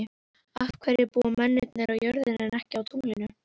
Af hverju búa mennirnir á jörðinni en ekki á tunglinu?